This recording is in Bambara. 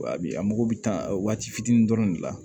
Wa bi a mago bɛ tan a waati fitinin dɔrɔn de la